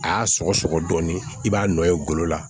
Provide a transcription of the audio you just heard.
A y'a sɔgɔ sɔgɔ dɔɔnin i b'a nɔ ye golo la